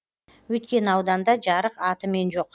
өйткені ауданда жарық атымен жоқ